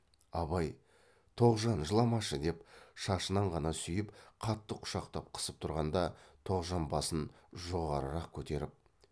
абай тоғжан жыламашы деп шашынан ғана сүйіп қатты құшақтап қысып тұрғанда тоғжан басын жоғарырақ көтеріп